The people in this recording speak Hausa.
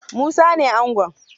Musa ne angon